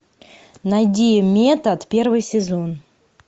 найди метод первый сезон